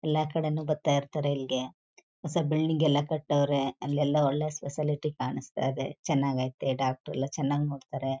ಎಲ್ಲಾ ಕಡೆನೂ ಬರ್ತಾ ಇರ್ತಾರೆ ಇಲ್ಗೆ ಹೊಸ ಬಿಲ್ಡಿಂಗ್ ಎಲ್ಲಾ ಕಟ್ಟವ್ರೆ ಅಲ್ಲೆಲ್ಲ ಒಳ್ಳೆ ಸ್ಪೆಶಾಲಿಟಿ ಕಾಣಿಸ್ತಾ ಇದೆ ಚೆನ್ನಾಗೈತೆ ಡಾಕ್ಟರ್ ಎಲ್ಲ ಚೆನ್ನಾಗಿ ನೋಡ್ತಾರೆ.